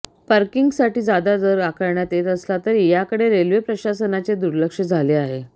पार्किंगसाठी जादा दर आकारण्यात येत असला तरी याकडे रेल्वे प्रशासनाचे दुर्लक्ष झाले आहे